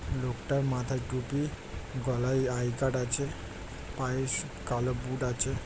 লোকটার মাথায় টুপি গলায় আই. কার্ড আছে পায়ে কালো বুট আছে ।